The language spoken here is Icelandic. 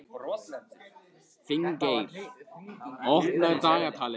Finngeir, opnaðu dagatalið mitt.